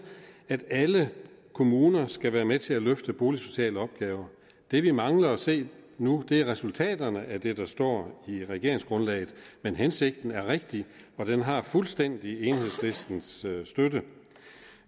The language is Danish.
at alle kommuner skal være med til at løfte boligsociale opgaver det vi mangler at se nu er resultaterne af det der står i regeringsgrundlaget men hensigten er rigtig og den har fuldstændig enhedslistens støtte